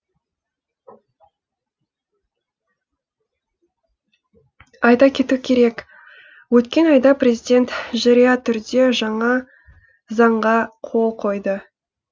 айта кету керек өткен айда президент жария түрде жаңа заңға қол қойды